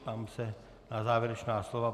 Ptám se na závěrečná slova.